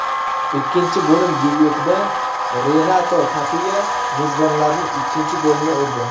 Ikkinchi bo‘lim debyutida Renato Tapiya mezbonlarning ikkinchi golini urdi.